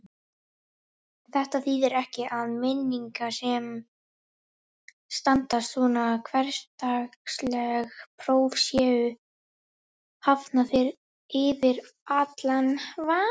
Þetta þýðir ekki að minningar sem standast svona hversdagsleg próf séu hafnar yfir allan vafa.